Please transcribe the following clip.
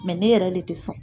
Mɛ ne yɛrɛ le tɛ sɔn